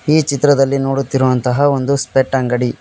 ಈ ಚಿತ್ರದಲ್ಲಿ ನೋಡುತಿರುವಂತಹ ಒಂದು ಸ್ಪೆಟ್ ಅಂಗಡಿ.